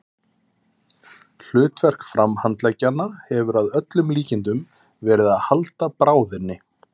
Hlutverk framhandleggjanna hefur að öllum líkindum verið að halda bráðinni.